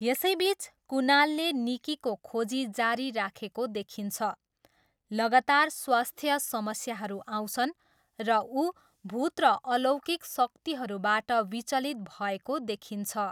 यसैबिच, कुनालले निक्कीको खोजी जारी राखेको देखिन्छ, लगातार स्वास्थ्य समस्याहरू आउँछन्, र उ भूत र अलौकिक शक्तिहरूबाट विचलित भएको देखिन्छ।